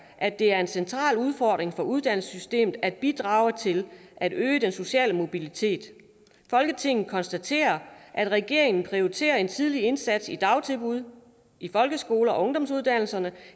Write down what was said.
at det er en central udfordring for uddannelsessystemet at bidrage til at øge den sociale mobilitet folketinget konstaterer at regeringen prioriterer en tidlig indsats i dagtilbud folkeskole og ungdomsuddannelser